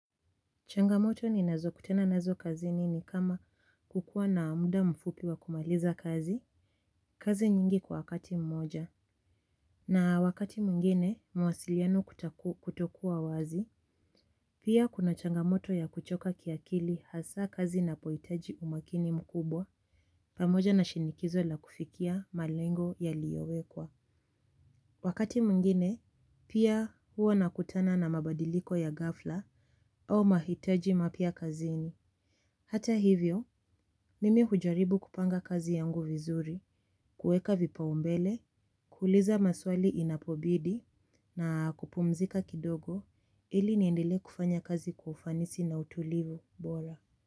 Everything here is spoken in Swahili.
Changamoto ninazokutana nazo kazini ni kama kukuwa na muda mfupi wa kumaliza kazi, kazi nyingi kwa wakati mmoja. Na wakati mwingine, mawasiliano kutokuwa wazi, pia kuna changamoto ya kuchoka kiakili hasaa kazi inapohitaji umakini mkubwa, pamoja na shinikizo la kufikia malengo yaliyowekwa. Wakati mwingine, pia huwa nakutana na mabadiliko ya ghafla au mahitaji mapya kazini. Hata hivyo, mimi hujaribu kupanga kazi yangu vizuri, kuweka vipaumbele, kuuliza maswali inapobidi na kupumzika kidogo ili niendelee kufanya kazi kwa ufanisi na utulivu bora.